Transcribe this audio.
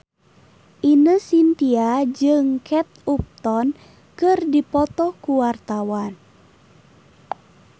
Ine Shintya jeung Kate Upton keur dipoto ku wartawan